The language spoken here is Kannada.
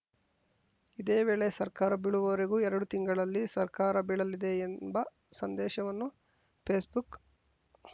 ಇದೇ ವೇಳೆ ಸರ್ಕಾರ ಬೀಳುವವರೆಗೂ ಎರಡು ತಿಂಗಳಲ್ಲಿ ಸರ್ಕಾರ ಬೀಳಲಿದೆ ಎಂಬ ಸಂದೇಶವನ್ನು ಫೇಸ್‌ಬುಕ್‌